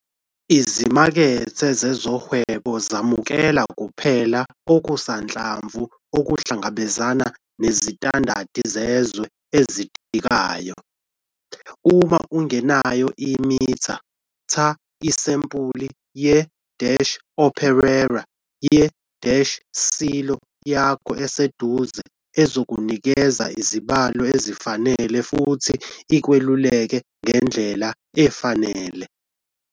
Izimakethe zezohwebo zemukela kuphela okusanhlamvu okuhlangabezana nezitandadi zezwe ezidingekayo. Uma ungenayo imitha, tha isampuli ye-operaror ye-silo yakho eseduze ezokunikeza izibalo ezifanele futhi ikweluleke ngendlela efanele.